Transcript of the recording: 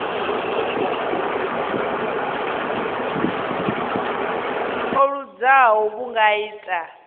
o luzaho vhu nga ita